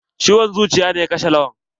Ciwon zuciya ne ya kashe Lawan.